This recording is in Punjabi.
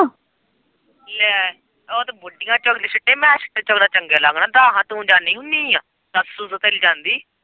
ਨਹੀਂ ਉਹ ਤੇ ਬੁੱਢੀਆਂ ਚੁੱਕਦਿਆਂ ਛਿੱਟੇ ਮੈਂ ਛਿੱਟੇ ਚੁੱਕਦਾ ਚੰਗਾ ਲੱਗਦਾ ਦੱਸ ਹਾਂ ਤੂੰ ਜਾਣੀ ਹੁਣੀ ਏ ਦੱਸ ਤੂੰ ਤੇ ਕਦੇ ਜਾਂਦੀ।